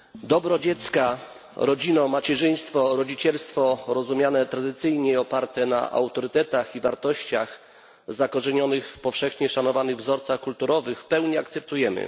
Dobro dziecka, rodzinę, macierzyństwo i rodzicielstwo rozumiane tradycyjnie, oparte na autorytetach i wartościach zakorzenionych w powszechnie szanowanych wzorcach kulturowych w pełni akceptujemy.